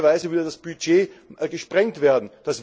Realistischerweise würde das Budget gesprengt werden.